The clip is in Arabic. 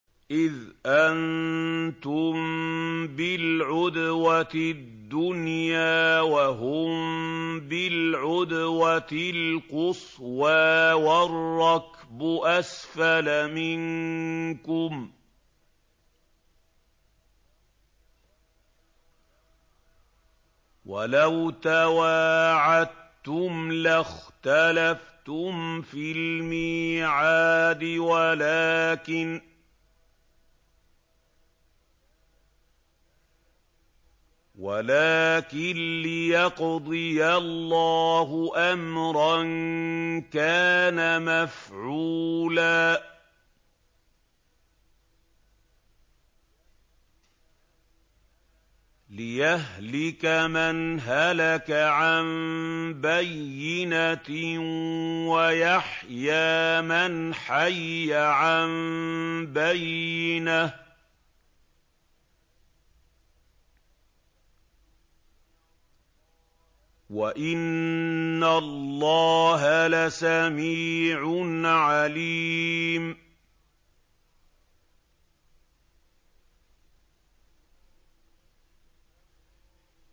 إِذْ أَنتُم بِالْعُدْوَةِ الدُّنْيَا وَهُم بِالْعُدْوَةِ الْقُصْوَىٰ وَالرَّكْبُ أَسْفَلَ مِنكُمْ ۚ وَلَوْ تَوَاعَدتُّمْ لَاخْتَلَفْتُمْ فِي الْمِيعَادِ ۙ وَلَٰكِن لِّيَقْضِيَ اللَّهُ أَمْرًا كَانَ مَفْعُولًا لِّيَهْلِكَ مَنْ هَلَكَ عَن بَيِّنَةٍ وَيَحْيَىٰ مَنْ حَيَّ عَن بَيِّنَةٍ ۗ وَإِنَّ اللَّهَ لَسَمِيعٌ عَلِيمٌ